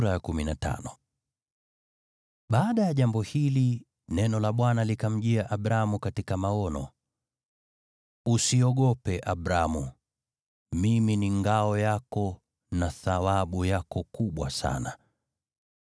Baada ya jambo hili, neno la Bwana likamjia Abramu katika maono: “Usiogope, Abramu. Mimi ni ngao yako, na thawabu yako kubwa sana.”